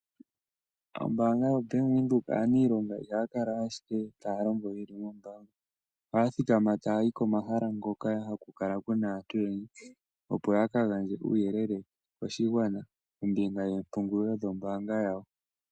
Aaniilonga yombaanga yaBank Windhoek ihaya kala ashike taya longo ye li moombaanga, ohaya thikama e taya yi komahala hoka haku kala ku na aantu oyendji, opo ya ka gandje uuyelele koshigwana kombinga yoompungulilo dhoombaanga dhawo.